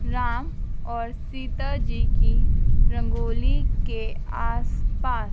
राम और सीता जी की रंगोली के आस पास--